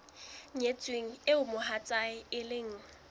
nyetsweng eo mohatsae e leng